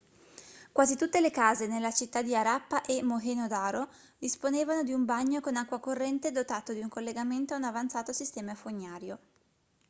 quasi tutte le case nelle città di harappa e mohenjo-daro disponevano di un bagno con acqua corrente dotato di un collegamento a un avanzato sistema fognario